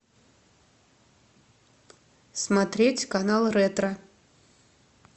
смотреть канал ретро